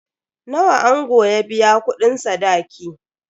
Nawa ango ya biya kudin sadaki?